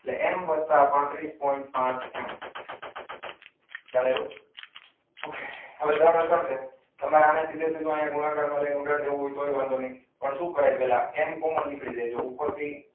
એટલે એમ વત્તા પાત્રીસ પોઇન્ટ પાંચ એમ. ખ્યાલ આવ્યો. તમારે અને સીધે સીધું ગુણાકાર કરીને ઉડાડી દેવું હોય તોય વાંધો નહીં. પણ શું કરે એમાં પહેલા એમ કોમન નીકળી જાય જુઓ ઉપરથી.